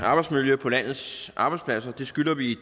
arbejdsmiljø på landets arbejdspladser det skylder vi